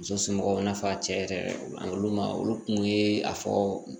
Muso somɔgɔw n'a fɔra cɛ yɛrɛ ani olu ma olu kun ye a fɔ